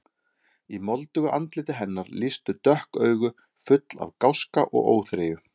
Í moldugu andliti hennar lýstu dökk augu, full af gáska og óþreyju.